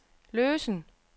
løsen